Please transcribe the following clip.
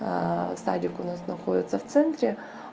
да садик у нас находится в центре